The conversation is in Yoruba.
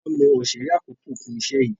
Tola mọ Osere àkókò fún iṣẹ yí.